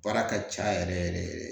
Baara ka ca yɛrɛ yɛrɛ yɛrɛ